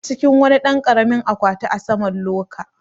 A cikin wani ɗan karamin akwati a saman loka